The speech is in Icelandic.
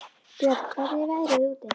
Björn, hvernig er veðrið úti?